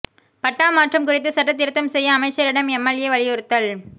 பட்டா மாற்றம் குறித்து சட்டத் திருத்தம் செய்ய அமைச்சரிடம் எம்எல்ஏ வலியுறுத்தல்